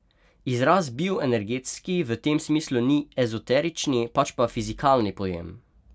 Izraz bioenergetski v tem smislu ni ezoterični, pač pa fizikalni pojem.